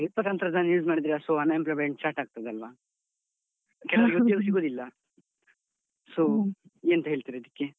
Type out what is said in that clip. ಸ್ವಲ್ಪ ತಂತ್ರಜ್ಞಾನ use ಮಾಡಿದ್ರೆ so unemployment start ಆಗ್ತದಲ್ವ? ಕೆಲವರಿಗೆ ಉದ್ಯೋಗ ಸಿಗೋದಿಲ್ಲ so ನೀವೆಂತ ಹೇಳ್ತೀರಿ ಇದುಕ್ಕೆ?